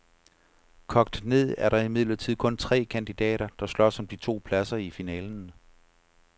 Kogt ned er der imidlertid kun tre kandidater, der slås om de to pladser i finalen.